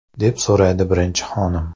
deb so‘raydi birinchi xonim.